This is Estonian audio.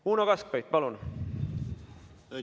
Uno Kaskpeit, palun!